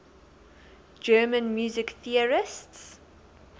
german music theorists